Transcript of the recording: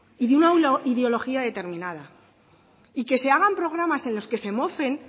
y de una ideología determinada y que se hagan programas en los que se mofen